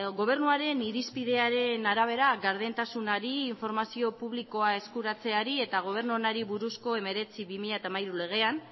gobernuaren irizpidearen arabera gardentasunari informazio publikoa eskuratzeari eta gobernu onari buruzko hemeretzi barra bi mila hamairu legean